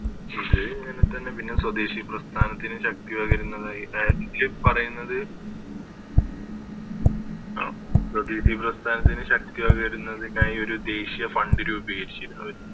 ഇത് ഇങ്ങനെ തന്നെ പിന്നെ സ്വദേശി പ്രസ്ഥാനത്തിന് ശക്തിപകരുന്നതായി അതായത് ഇതില് സ്വദേശി പ്രസ്ഥാനത്തിന് ശക്തിപകരുന്നതിനായി ഒരു ദേശീയ Fund രൂപീകരിച്ചിരുന്നു അവര്